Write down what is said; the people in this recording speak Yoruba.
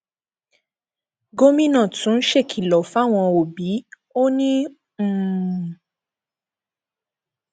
gomina tún ṣèkìlọ fáwọn òbí ò ní um